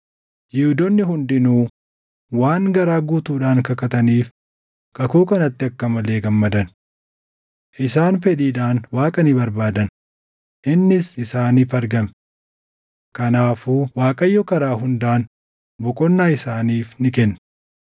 Yihuudoonni hundinuu waan garaa guutuudhaan kakataniif kakuu kanatti akka malee gammadan. Isaan fedhiidhaan Waaqa ni barbaadan; innis isaaniif argame. Kanaafuu Waaqayyo karaa hundaan boqonnaa isaaniif ni kenne.